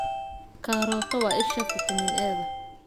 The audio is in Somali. Karooto waa isha fitamiin A-da.